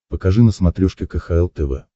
покажи на смотрешке кхл тв